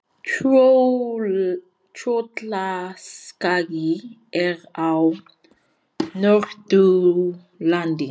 Tröllaskagi er á Norðurlandi.